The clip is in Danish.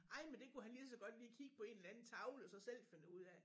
Ej men det kunne han lige så godt lige kigge på en eller anden tavle og så selv finde ud af